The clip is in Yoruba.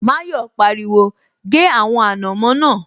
Mayọ̀ pariwo, 'gé àwọn ànàmọ́ náà'